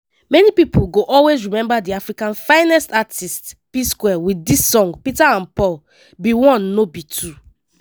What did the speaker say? many pipo go always remember di africa finest artistes psquare wit dis song "peter and paul be one no be two."